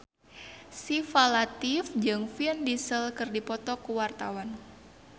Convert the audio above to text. Syifa Latief jeung Vin Diesel keur dipoto ku wartawan